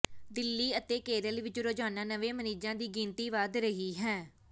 ਦਿੱਲੀ ਅਤੇ ਕੇਰਲ ਵਿਚ ਰੋਜ਼ਾਨਾ ਨਵੇਂ ਮਰੀਜ਼ਾਂ ਦੀ ਗਿਣਤੀ ਵੱਧ ਰਹੀ ਹੈ